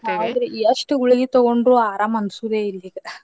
ಹೌದ್ರಿ ಎಷ್ಟ ಗುಳಗೀ ತಗೊಂಡ್ರು ಆರಾಮ ಅನ್ಸೋದೇ ಇಲ್ರಿ ಈಗ.